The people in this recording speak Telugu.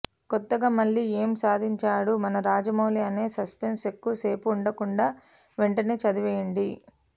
కొత్తగా మళ్ళి ఏం సాధించాడు మన రాజమౌళి అనే సస్పెన్స్ ఎక్కువసేపు ఉండకుండా వెంటనే చదివేయండి